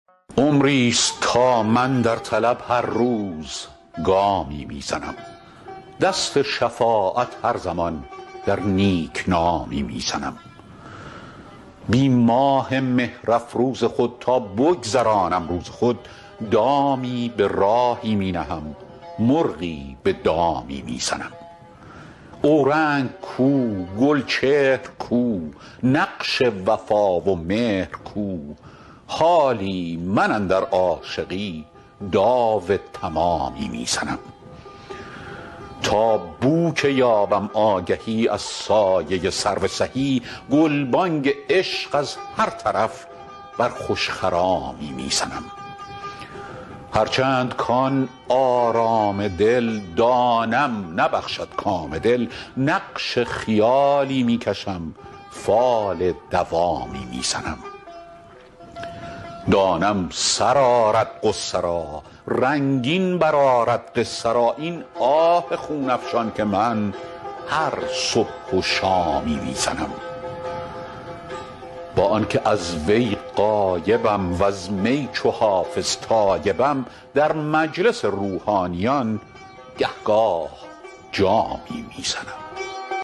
عمریست تا من در طلب هر روز گامی می زنم دست شفاعت هر زمان در نیک نامی می زنم بی ماه مهرافروز خود تا بگذرانم روز خود دامی به راهی می نهم مرغی به دامی می زنم اورنگ کو گلچهر کو نقش وفا و مهر کو حالی من اندر عاشقی داو تمامی می زنم تا بو که یابم آگهی از سایه سرو سهی گلبانگ عشق از هر طرف بر خوش خرامی می زنم هرچند کـ آن آرام دل دانم نبخشد کام دل نقش خیالی می کشم فال دوامی می زنم دانم سر آرد غصه را رنگین برآرد قصه را این آه خون افشان که من هر صبح و شامی می زنم با آن که از وی غایبم وز می چو حافظ تایبم در مجلس روحانیان گه گاه جامی می زنم